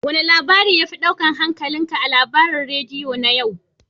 Wane labari ya fi ɗaukar hankalinka a labaran radiyo na yau?